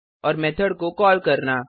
और मेथड को कॉल करना